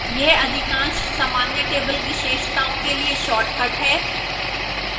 यहां अधिकांश सामान्य table विशेषताओं के लिए शार्टकट हैं